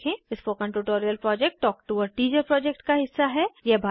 spoken tutorial project talk to a teacher project का हिस्सा है